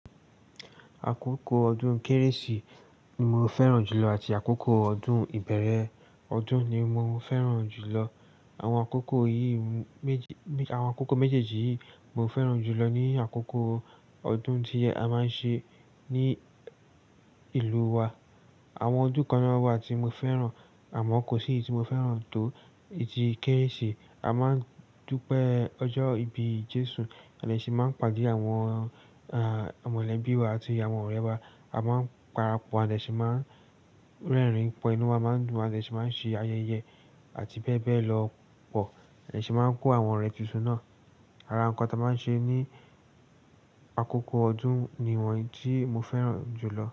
Àkókò ọdún Kérésì ni mo fẹ́ràn jùlọ àti àkókò ọdún ìbẹ̀rẹ̀ ọdún ni mo fẹ́ràn jùlọ. Àwọn àkókò méjèèjì yìí mo fẹ́ràn jùlọ ní àkókò ọdún tí a máa ń ṣe ní ìlú wa. Àwọn ọdún kan na wà tí mo fẹ́ràn, àmọ́ kò sí èyí tí mo fẹ́ràn tó tí Kérésì. A máa ń dúpẹ́ ọjọ́ ìbí Jésù, à dé sì máa ń paàde àwọn mọ̀lẹ́bí wa àti àwọn ọ̀rẹ́ wa. A máa ń parapọ̀, à dé ṣì máa ń rẹ́rìn pọ̀, inú wa máa ń dùn, à de sì máa ń ṣe ayẹyẹ àti bẹ́ẹ̀ bẹ́ẹ̀ lọ pọ̀. À dé ṣì máa ń kó àwọn ọ̀rẹ́ tuntun náà. Ara ǹkan tí a máa ń ṣe ní àkókò ọdún ni wọ́n yí tí mo fẹ́ràn jùlọ.